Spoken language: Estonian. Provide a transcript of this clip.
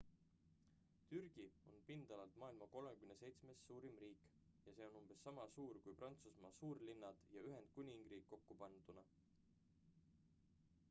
türgi on pindalalt maailma 37 suurim riik ja see on umbes sama suur kui prantsusmaa suurlinnad ja ühendkuningriik kokku panduna